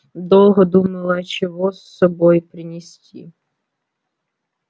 долго думала а чего с собой принести